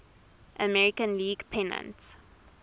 american league pennant